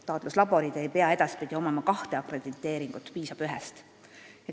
Taatluslaborid ei pea edaspidi omama kahte akrediteeringut, piisab ühest.